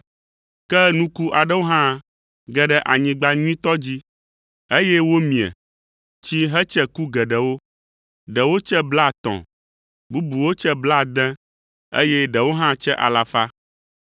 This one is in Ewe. Ke nuku aɖewo hã ge ɖe anyigba nyuitɔ dzi, eye womie, tsi hetse ku geɖewo, ɖewo tse blaetɔ̃, bubuwo tse blaade, eye ɖewo hã tse alafa.